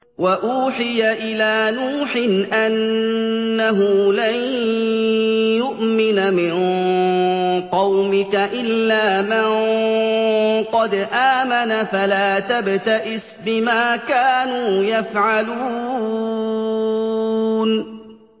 وَأُوحِيَ إِلَىٰ نُوحٍ أَنَّهُ لَن يُؤْمِنَ مِن قَوْمِكَ إِلَّا مَن قَدْ آمَنَ فَلَا تَبْتَئِسْ بِمَا كَانُوا يَفْعَلُونَ